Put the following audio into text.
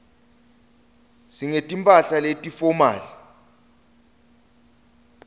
singeti mphahla leti fomali